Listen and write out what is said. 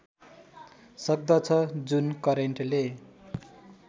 सक्दछ जुन करेन्टले